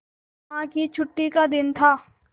अम्मा की छुट्टी का दिन था